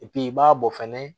i b'a bɔ fɛnɛ